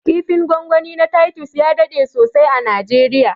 kifin gwangwani na titus ya daɗe sosai a najeriya